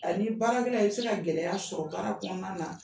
A ni baara gɛlɛya, i bɛ se ka gɛlɛya sɔrɔ baara kɔnɔna na.